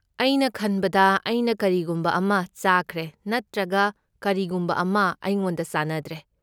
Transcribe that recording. ꯑꯩꯅ ꯈꯟꯕꯗ ꯑꯩꯅ ꯀꯔꯤꯒꯨꯝꯕ ꯑꯃ ꯆꯥꯈ꯭ꯔꯦ ꯅꯠꯇ꯭ꯔꯒ ꯀꯔꯤꯒꯨꯝꯕ ꯑꯃ ꯑꯩꯉꯣꯟꯗ ꯆꯥꯅꯗ꯭ꯔꯦ꯫